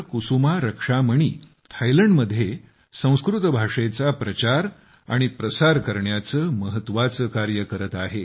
कुसुमा रक्षामणी थायलंडमध्ये संस्कृत भाषेचा प्रचार आणि प्रसार करण्याचे महत्त्वाचे कार्य करत आहेत